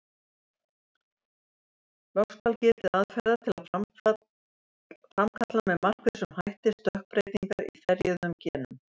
Loks skal getið aðferða til að framkalla með markvissum hætti stökkbreytingar í ferjuðum genum.